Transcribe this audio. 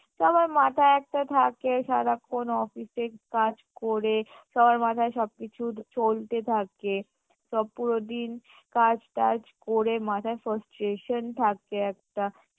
সবার মাথায় একটা থাকে সারাক্ষণ office এর কাজ করে সবার মাথায় সবকিছু চলতে থাকে সব পুরো দিন কাজ টাজ করে মাথায় frustration থাকে একটা